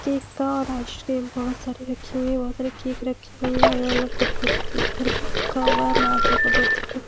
और योगा कर रहे हैं और इनमें बहुत सारी लेडीज हैं और आगे एक लेडीज बैठी है जिसमें जिसने चश्मा लगा के रखा हुआ है और ये सूर्य नमस्कार कर रहे हैं और --